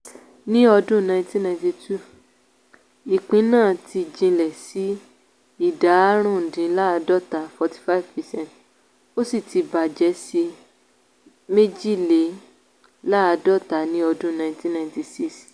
ní ọdún nineteen ninety two ìpín náà ti jinlẹ̀ sí ìdá árùndínláàádọ́ta ( forty five percent)ó sì ti bàjẹ́ sí méjìléláàádọ́ta ní ọdún nineteen ninety six.